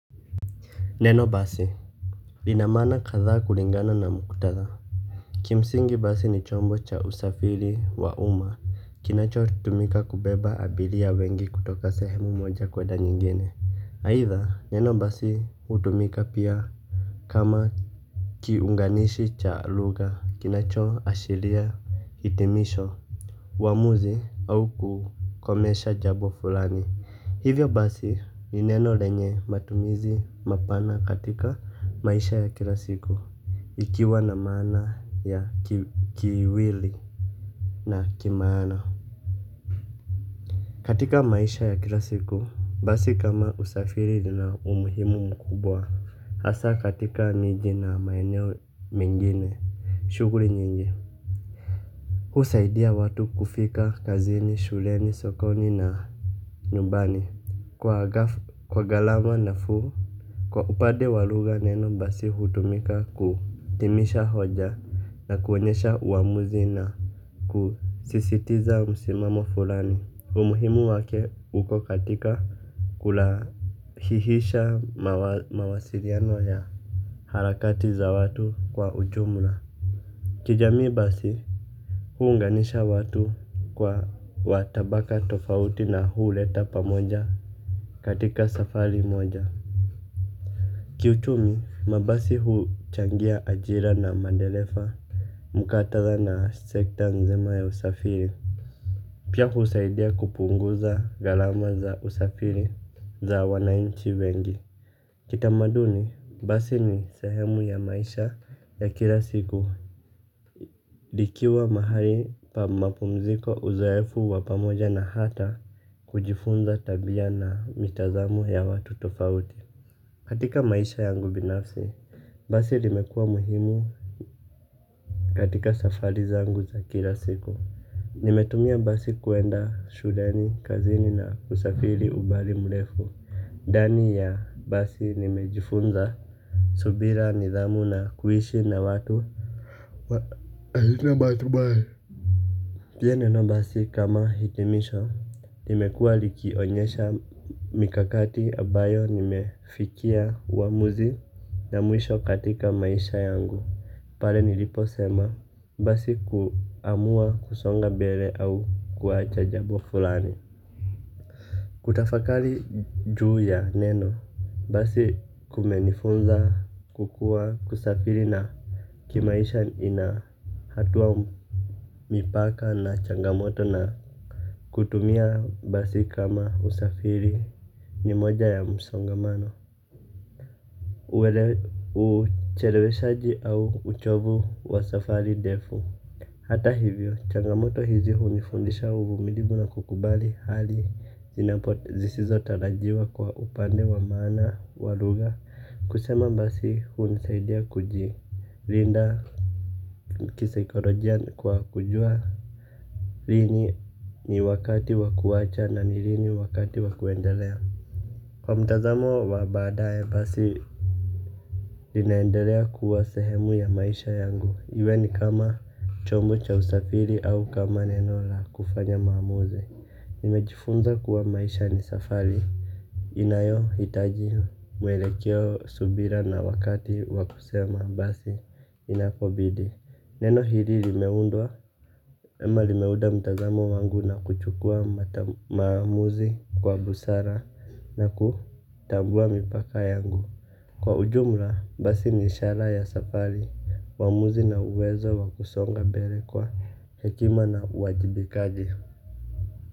Neno basi lina maana kathaa kulingana na muktatha kimsingi basi ni chombo cha usfari wa uma kinachotumika kubeba abiria wengi kutoka sehemu moja kwenda nyingine, aitha, neno basi hutumika pia kama kiunganishi cha lugha kinacho ashiria hitimisho uamuzi au kukomesha jabo fulani hivyo basi ni neno lenye matumizi mapana katika maisha ya kila siku ikiwa na maana ya kiwili na kimaana. Katika maisha ya kila siku basi kama usafiri lina umuhimu mkubwa hasa katika miji na maeneo mengine shughuli nyingi, husaidia watu kufika kazini, shuleni, sokoni na nyumbani kwa ghaf kwa galama nafuu, kwa upande wa lugha neno basi hutumika ku timisha hoja na kuonyesha uamuzi na kusisitiza msimamo fulani, umuhimu wake upo katika kulahihisha mawa mawasiriano ya harakati za watu kwa ujumla. Kijamii basi huunganisha watu kwa watabaka tofauti na huleta pamoja. Katika safari moja. Kiuchumi, mabasi huchangia ajira na mandelefa. Mukatatha na sekta nzima ya usafiri pia husaidia kupunguza gharama za usafiri za wananchi wengi kitamaduni basi ni sehemu ya maisha ya kila siku. Dikiwa mahali pa mapumziko uzoefu wa pamoja na hata kujifunza tabia na mitazamo ya watu tofauti. Katika maisha yangu binafsi basi limekua muhimu. Katika safari zangu za kila siku nimetumia basi kuenda shuleni kazini na usafiri ubali mlefu dani ya basi nimejifunza. Subira nidhamu na kuishi na watu wa ahina batu bali pia neno basi kama hitimisho limekua likionyesha mikakati abayo nimefikia uamuzi na mwisho katika maisha yangu. Pale nilipo sema basi kuamua kusonga bele au kuachajabo fulani. Kutafakali juu ya neno basi kumenifunza kukua kusafiri na kimaisha inahatua mipaka na changamoto na kutumia basi kama usafiri ni moja ya msongamano. Uchelewe shaji au uchovu wa safari defu. Hata hivyo changamoto hizi hunifundisha uvumilivu na kukubali hali zisizo tarajiwa kwa upande wa maana waluga kusema basi hunisaidia kujilinda kisaikolojia kwa kujua lini ni wakati wa kuacha na nilini wakati wakuendelea. Kwa mtazamo wa baadaye basi. Linaendelea kuwa sehemu ya maisha yangu. Iwe ni kama chombo cha usafiri au kama nenola kufanya maamuzi. Nimejifunza kuwa maisha ni safari inayo hitaji mwelekeo, subira na wakati wakusema basi inapobidi. Neno hiri limeundwa, ama limeuda mtazamo wangu na kuchukua maamuzi kwa busara na kutambua mipaka yangu. Kwa ujumla, basi ni ishara ya safari, maamuzi na uwezo wa kusonga bere kwa hekima na uwajibikaji.